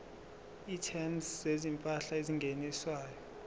items zezimpahla ezingeniswayo